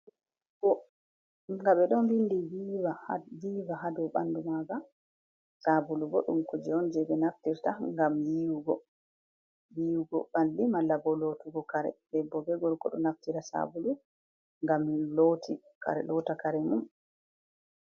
Sabulu ga ɓedo windi viva ha ɓandu maaga sabulu bo ɗum ko jee on jei ɓe naftirta ngam yiiwugo, yiiwugo ɓalli malla bo lootugo kare debbo be gorko do naftira sabulu ngam lootta kare mum.